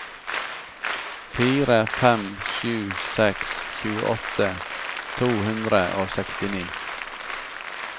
fire fem sju seks tjueåtte to hundre og sekstini